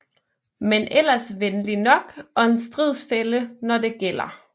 Men ellers venlig nok og en stridsfælle når det gælder